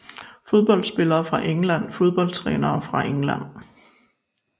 Fodboldspillere fra England Fodboldtrænere fra England